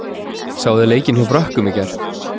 Sáuð þið leikinn hjá Frökkum í gær?